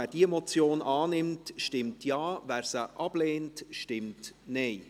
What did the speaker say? Wer diese Motion annimmt, stimmt Ja, wer diese ablehnt, stimmt Nein.